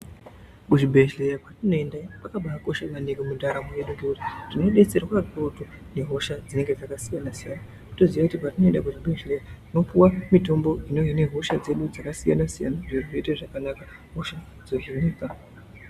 Kuzvibhedheya kwatinoenda iyo kwakabakosha maningi nekuti mundaramo medu tinodetserwa zvikukutu nehosha dzinenge dzakasiyana siyana. Toziya kuti patinoenda kuzvibhezheya tinopiwa mitombo ine hosha dzedu dzakasiyana siyana zviro zvoenda zvakanaka.